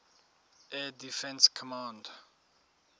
air defense command